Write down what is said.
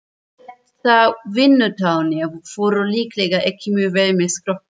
Þessar vinnutarnir fóru líklega ekki mjög vel með skrokkinn.